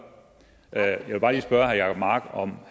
jeg vil bare lige spørge herre jacob mark om